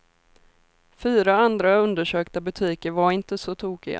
Fyra andra undersökta butiker var inte så tokiga.